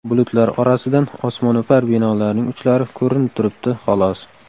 Bulutlar orasidan osmono‘par binolarning uchlari ko‘rinib turibdi, xolos.